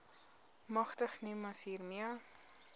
magtig nimas hiermee